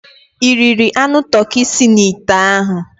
Ị riri anụ toki si n'ite ahụ?